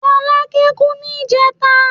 Fọlákẹ́ kú ní ìjẹẹ̀ta.